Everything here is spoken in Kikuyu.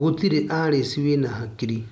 Gũtĩrĩ Alice wĩna hakii.